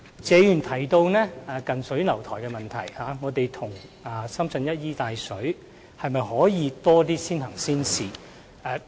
謝議員提到我們近水樓台，與深圳一衣帶水，可否推行更多先行先試的措施？